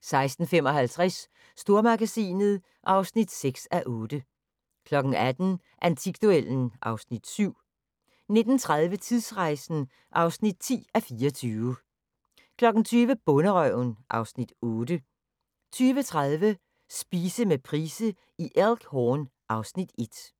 16:55: Stormagasinet (6:8) 18:00: Antikduellen (Afs. 7) 19:30: Tidsrejsen (10:24) 20:00: Bonderøven (Afs. 8) 20:30: Spise med Price i Elk Horn (Afs. 1)